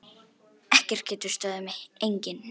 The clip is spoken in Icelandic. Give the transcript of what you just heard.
Ekkert getur stöðvað mig, enginn.